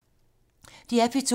DR P2